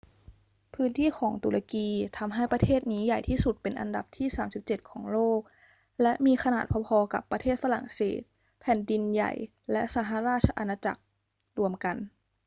พื้นที่ของตุรกีทำให้ประเทศนี้ใหญ่ที่สุดเป็นอันดับที่ 37 ของโลก และมีขนาดพอ ๆ กับประเทศฝรั่งเศสแผ่นดินใหญ่และสหราชอาณาจักรรวมกัน